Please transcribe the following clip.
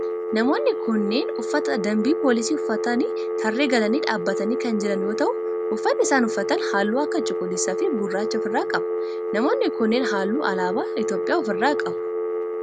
Namoonni kunneen uffata dambii poolisii uffatanii tarree galanii dhaabbatanii kan jiran yoo ta'u uffanni isaan uffatan halluu akka cuquliisa fi gurraacha of irraa qaba. Namoonni kunneen halluu alaabaa Itiyoophiyaa of irraa qabu.